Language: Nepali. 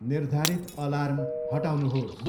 निर्धारित अलार्म हटाउनुहोस्।